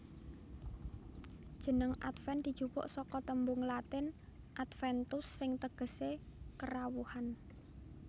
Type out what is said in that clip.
Jeneng Adven dijupuk saka tembung Latin Adventus sing tegesé Kerawuhan